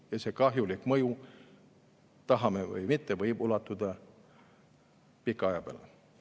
Ja see kahjulik mõju, tahame või mitte, võib ulatuda pika aja peale.